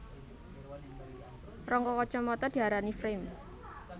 Rangka kacamata diarani frame